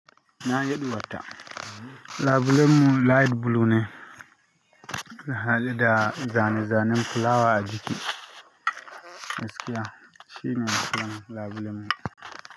Na yiɗi wata. Labulemu light bulu ne. Kaga da ga mai zanen fulawa a jiki. Gaskiya shi ne sunan labulemu.